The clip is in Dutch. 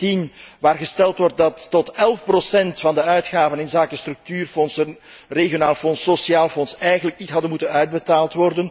6.17, waarin gesteld wordt dat tot 11 procent van de uitgaven inzake structuurfondsen, Regionaal Fonds, Sociaal Fonds, eigenlijk niet hadden moeten worden uitbetaald.